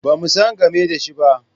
Ba mu san game da shi ba.